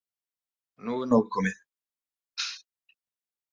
Nú er nóg komið!